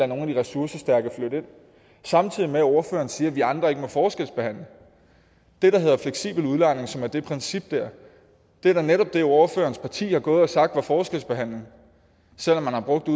nogle af de ressourcestærke flytte ind samtidig med at ordføreren siger at vi andre ikke må forskelsbehandle det der hedder fleksibel udlejning som er det der princip er da netop det som ordførerens parti har gået og sagt var forskelsbehandling selv om man har brugt det